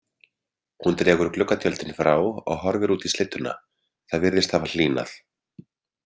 Hún dregur gluggatjöldin frá og horfir út í slydduna, það virðist hafa hlýnað.